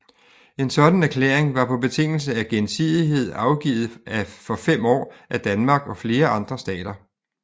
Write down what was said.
En sådan erklæring var på betingelse af gensidighed afgivet for 5 år af Danmark og flere andre stater